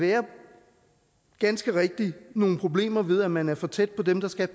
der ganske rigtigt kan nogle problemer ved at man er for tæt på dem der skal